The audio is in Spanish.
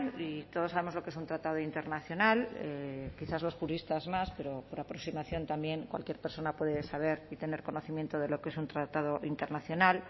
y todos sabemos lo que es un tratado internacional quizás los juristas más pero por aproximación también cualquier persona puede saber y tener conocimiento de lo que es un tratado internacional